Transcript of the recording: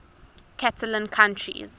catalan countries